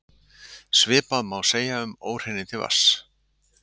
Svipað má segja um óhreinindi vatns.